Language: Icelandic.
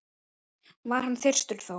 var hann þyrstur þó.